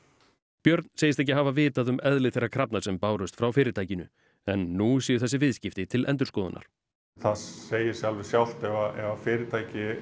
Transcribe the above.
björn segist ekki hafa vitað um eðli þeirra krafna sem bárust frá fyrirtækinu en nú séu þessi viðskipti til endurskoðunar það segir sig alveg sjálft ef að fyrirtæki